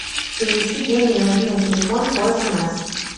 перевести деньги на мобильный телефон по смс